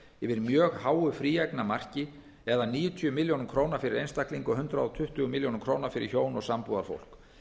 yfir mjög háu fríeignamarki eða níutíu milljónir króna fyrir einstaklinga og hundrað tuttugu milljónir króna fyrir hjón og sambúðarfólk